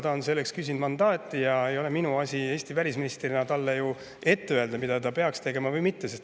Ta on selleks küsinud mandaati ja minu asi ei ole Eesti välisministrina talle ette öelda, mida ta peaks tegema või mitte.